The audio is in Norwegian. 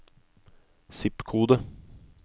zip-kode